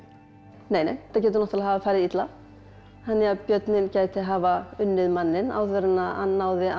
nei nei þetta getur náttúrulega hafa farið illa þannig að björninn gæti hafa unnið manninn áður en hann náði að